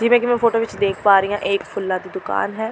ਜਿਵੇਂ ਕਿ ਮੈਂ ਫੋਟੋ ਵਿਚ ਦੇਖ ਪਾ ਰਹੀਂ ਹਾਂ ਇਹ ਇੱਕ ਫੁੱਲਾਂ ਦੀ ਦੁਕਾਨ ਹੈ।